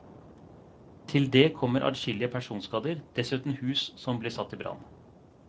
Til det kommer adskillige personskader, dessuten hus som blir satt i brann.